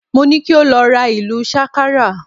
Mo ni ki o lọ ra ìlù sákárà